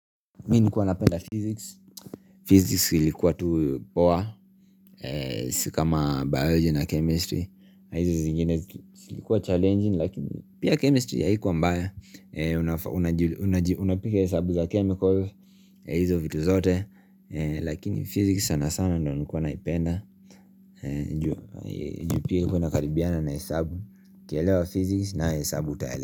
Mi nilikuwa napenda physics Physics ilikuwa tuu poa. Sikama biology na chemistry na hizi zingine silikuwa challenging Lakini pia chemistry haikuwa mbaya. Unapiga hesabu za chemical hizo vitu zote Lakini physics sana sana ndo nikuwa naipenda juu pia haikuwa nakaribiana na hesabu. Kuelewa physics na hesabu utaelewa.